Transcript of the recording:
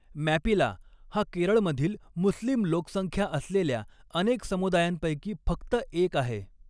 मॅपिला हा केरळमधील मुस्लिम लोकसंख्या असलेल्या अनेक समुदायांपैकी फक्त एक आहे.